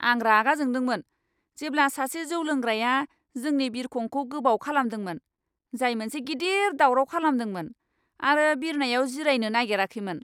आं रागा जोंदोंमोन जेब्ला सासे जौ लोंग्राया जोंनि बिरखंखौ गोबाव खालामदोंमोन, जाय मोनसे गिदिर दावराव खालामदोंमोन आरो बिरनायाव जिरायनो नागेराखैमोन!